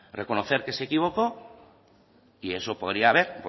reconocer que se equivocó y eso podría haber